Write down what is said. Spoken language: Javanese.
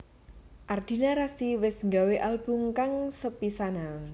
Ardina Rasti wis nggawé album kang sepisanan